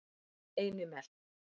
Einimel